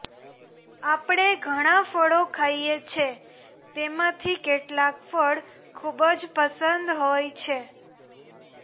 આપણે ઘણાં ફળો ખાઈએ છે તેમાંથી કેટલાંક ફળ ખૂબ જ પસંદ હોય છે